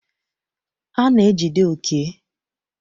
A na-ejide Oke.